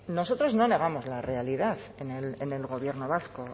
nosotros no negamos la realidad en el gobierno vasco